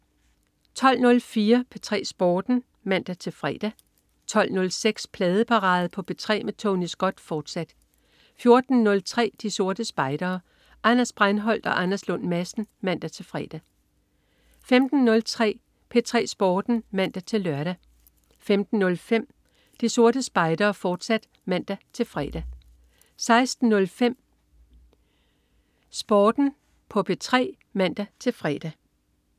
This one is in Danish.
12.04 P3 Sporten (man-fre) 12.06 Pladeparade på P3 med Tony Scott, fortsat 14.03 De Sorte Spejdere. Anders Breinholt og Anders Lund Madsen (man-fre) 15.03 P3 Sporten (man-lør) 15.05 De Sorte Spejdere, fortsat (man-fre) 16.05 P3 Sporten (man-fre)